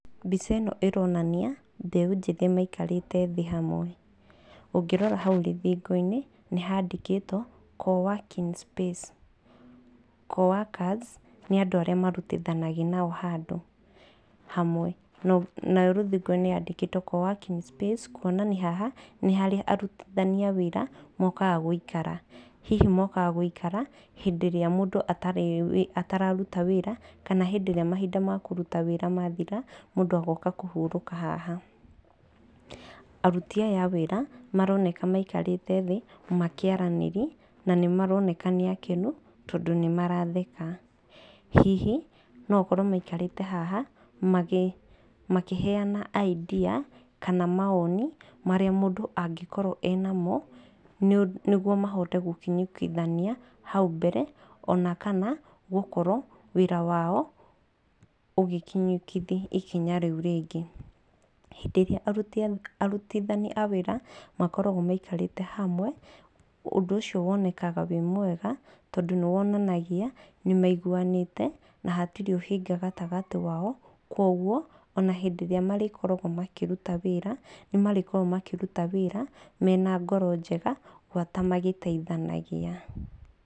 Mbica ĩno ĩronania mbeũ njĩthĩ maikarĩte thĩ hamwe. Ũngĩrora hau rũthingo-inĩ nĩ handĩkĩtwo co working space. Co workers nĩ andũ arĩa marutithanagia nao handũ hamwe. Naho rũthingo-inĩ handĩkĩtwo co working space kuonania haha nĩho aruti a wĩra mokaga gũikara. Hihi mokaga gũikara hĩndĩ ĩrĩa mũndũ atararuta wĩra kana hĩndĩ ĩrĩa mahinda makũruta wĩra mathira, mũndũ agoka kũhurũka haha. Aruti aya a wĩra maroneka maikarĩte thĩ makĩaranĩria na nĩ maroneka nĩ akenu tondũ nĩ maratheka. Na hihi no gũkorwo maikarĩte haha makĩheana idea kana maoni marĩa mũndũ angĩkorwo enamo nĩguo mahote gũkinyũkithania hau mbere. Ona kana gũkorwo wĩra wao ũgĩkinyũkithia ikinya rĩu rĩngĩ. Hĩndĩ ĩrĩa arũti a wĩra makoragwo maikarĩte hamwe, ũndũ ũcio ũkoragwo wĩ mwega tondũ nĩ wonanagia nĩ maiguanĩte na hatirĩ ũhinga gatagatĩ wao. Kwoguo ona hĩndĩ ĩrĩa marĩkoragwo makĩruta wĩra, nĩ marĩkoragwo makĩruta wĩra mena ngoro njega, gwata magĩteithanagia.